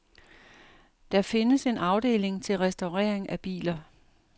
Der findes en afdeling til restaurering af biler.